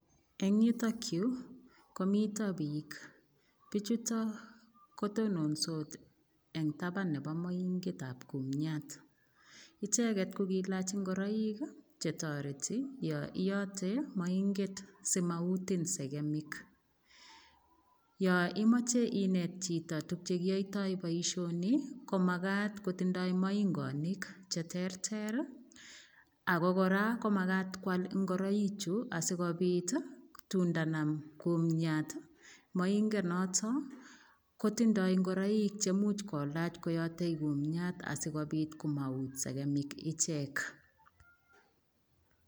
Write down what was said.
Eng yutokyu komito piik pichuto kotononsot eng taban nebo moinget ab kumyat icheget ko kiilach ngoroik chetoreti yo iyote moinget simautin segik yo imache inet chito tukchekiotoi boishoni komakat kotindoi moingonik cheterter ako kora komakat koal ngoroik chu asikopit tun ndanam kumyat moingonotok kotindoi ngoroik chemuch kolach koyotei kumyat asikopit komaut segemik ichek.